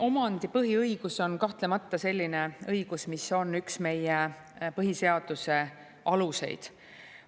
Omandipõhiõigus on kahtlemata selline õigus, mis on üks meie põhiseaduse aluseid.